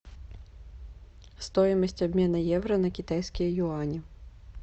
стоимость обмена евро на китайские юани